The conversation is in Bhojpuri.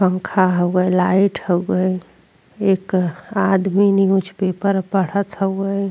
पंखा हउए लाइट हउए। एक आदमी न्यूज़ पेपर पढ़त हउए।